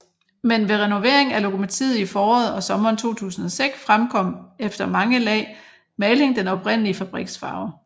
Men ved renovering af lokomotivet i foråret og sommeren 2006 fremkom efter mange lag maling den oprindelige fabriks farve